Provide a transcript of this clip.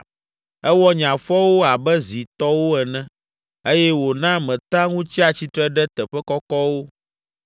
Ewɔ nye afɔwo abe zi tɔwo ene eye wòna metea ŋu tsia tsitre ɖe teƒe kɔkɔwo.